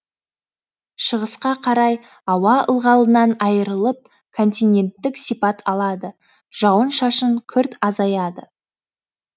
шығысқа қарай ауа ылғалынан айырылып континенттік сипат алады жауын шашын күрт азаяды